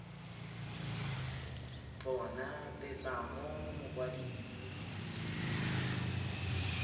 bona tetla mo go mokwadise